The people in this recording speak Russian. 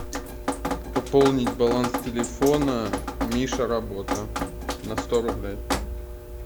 пополнить баланс телефона миша работа на сто рублей